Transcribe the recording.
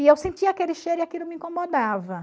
E eu sentia aquele cheiro e aquilo me incomodava.